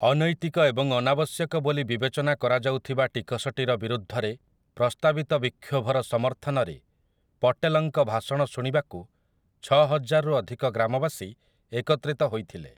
ଅନୈତିକ ଏବଂ ଅନାବଶ୍ୟକ ବୋଲି ବିବେଚନା କରାଯାଉଥିବା ଟିକସଟିର ବିରୁଦ୍ଧରେ ପ୍ରସ୍ତାବିତ ବିକ୍ଷୋଭର ସମର୍ଥନରେ ପଟେଲଙ୍କ ଭାଷଣ ଶୁଣିବାକୁ ଛଅହଜାରରୁ ଅଧିକ ଗ୍ରାମବାସୀ ଏକତ୍ରିତ ହୋଇଥିଲେ ।